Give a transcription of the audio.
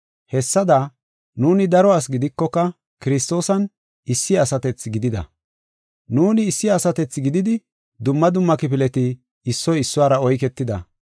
Hessada, nuuni daro asi gidikoka, Kiristoosan issi asatethi gidida. Nuuni issi asatethi gididi dumma dumma kifileti issoy issuwara oyketida.